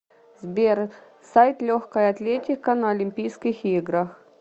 сбер сайт легкая атлетика на олимпийских играх